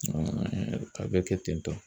a bɛ kɛ ten tɔ.